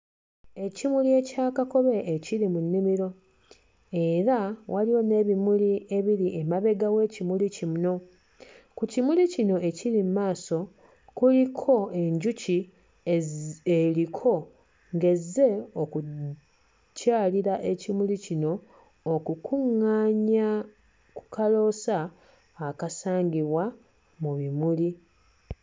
Ekimuli ekya kakobe ekiri mu nnimiro era waliwo n'ebimuli ebiri emabega w'ekimuli kino, ku kimuli kino ekiri mu maaso kuliko enjuki ezi eriko ng'ezze okukyalira ekimuli kino okukuŋŋaanya ku kaloosa akasangibwa mu bimuli.